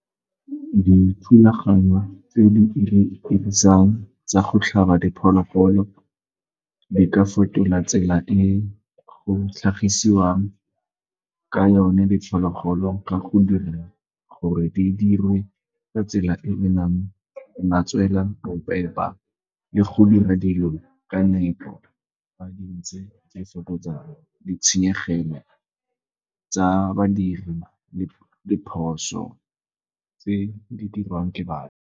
Dithulaganyo tse di 'irisang tsa go tlhaba diphologolo di ka fetola tsela e go tlhagisiwang ka yone diphologolo ka go dira gore di dirwe ka tsela e e nang le matswela bo le go dira dilo ka nepo [? e fokotsa ditshenyegelo tsa badiri le diphoso tse di dirwang ke batho.